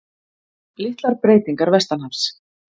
Litlar breytingar vestanhafs